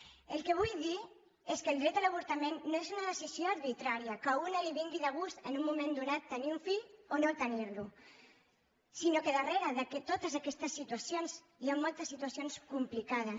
el que vull dir és que el dret a l’avortament no és una decisió arbitrària que a una li vingui de gust en un moment donat tenir un fill o no tenir lo sinó que darrere de totes aquestes situacions hi han moltes situacions complicades